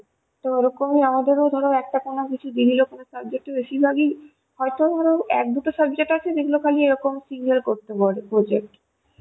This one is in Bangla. তো ওরকমই আমাদের ধরো একটা কোনো কিছু একটু বেশির ভাগ ই হয়ত ধরো এক দুটো subject আছে সেগুলো খালি এরকম single করতে বলে project